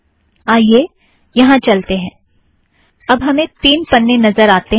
आइए यहाँ चलतें हैं - अब हमें तीन पन्ने नज़र आतें हैं